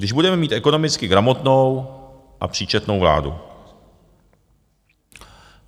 Když budeme mít ekonomicky gramotnou a příčetnou vládu.